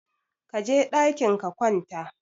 Kaje ɗakin ka wanta